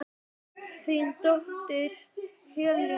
Þín dóttir Helena.